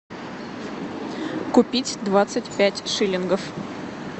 купить двадцать пять шиллингов